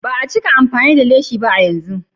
Ba a cika amfani da leshi ba a yanzu.